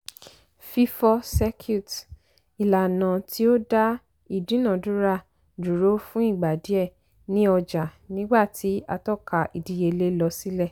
fífọ́ circuit ìlànà tí ó dá ìdúnàdúrà dúró fún ìgbà díẹ̀ ní ọjà nígbà tí àtọ́ka ìdíyelé lọ sílẹ̀.